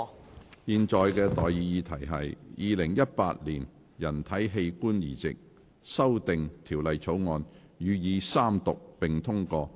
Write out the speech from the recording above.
我現在向各位提出的待議議題是：《2018年人體器官移植條例草案》予以三讀並通過。